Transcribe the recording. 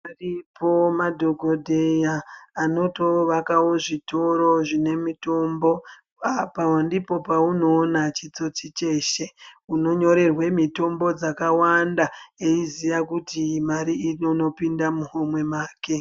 Aripo madhokodheya anotovakawo zvitoro zvine mutombo apa ndipoo paunoona chitsotsi cheshe unonyorerwe mitombo dzakawanda eiziya kuti mari irikundopinda muhomwe make.